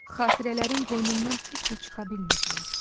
Xatirələrin qoynundan heç cür çıxa bilmirdilər.